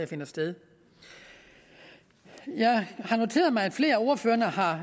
finder sted jeg har noteret mig at flere af ordførerne har